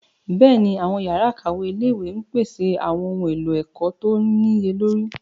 Bẹ́ẹ̀ni, àwọn yàrá ìkàwé ilé-ìwé ń pèsè àwọn ohun èlò ẹ̀kọ́ tó níye lórí.